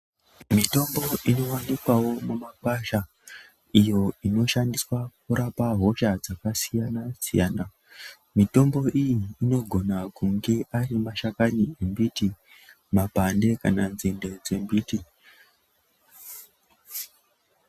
Mitombo inowanikwawo mumakwasha iyo inoshandiswa kurapa hosha dzakasiyana siyana mitombo iyi inogona kunge ari mashakani embiti makwande kana nzinde dzembiti.